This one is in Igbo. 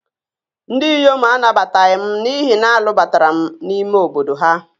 Ndị inyom anabataghị m n'ihi na a lụbatara m n'ime obodo ha